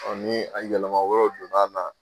ni a yɛlɛma wɛrɛw donna na